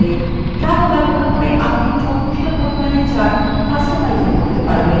calc ব্যবহার করে আপনি যথেষ্ট পরিমাণে charts কাস্টমাইজও করতে পারেন